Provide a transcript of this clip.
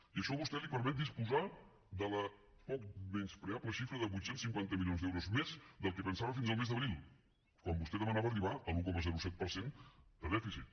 i això a vostè el permet disposar de la poc menyspreable xifra de vuit cents i cinquanta milions d’euros més del que pensava fins al mes d’abril quan vostè demanava arribar a l’un coma set per cent de dèficit